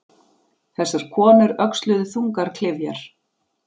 Þessar konur öxluðu þungar klyfjar.